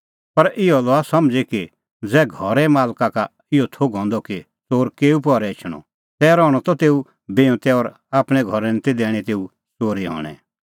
पर इहअ लआ समझ़ी की ज़ै घरे मालका का इहअ थोघ हंदअ कि च़ोर केऊ पहरै एछणअ तै रहणअ त तेऊ बिऊंतै और आपणैं घरै निं दैणीं ती तेऊ च़ोरी हणैं